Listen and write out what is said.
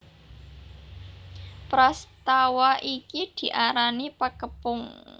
Prastawa iki diarani Pakepung